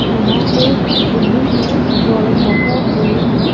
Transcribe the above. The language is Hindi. यहां पे बिल्डिंग है जो ये बहोत बड़ी है।